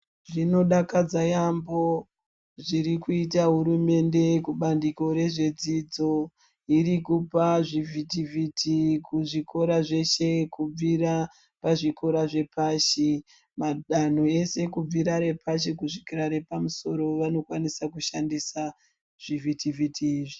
Zvinodakadza yaambo zvirikuita hurumende kubandikore zvedzidzo. Irikupa zvivhiti-vhiti kuzvikora zveshe kubvira pazvikora zvepashi. Madanho eshe kubvira repashi kusvikira repamusoro vanokwanisa kushandisa zvivhiti-vhiti.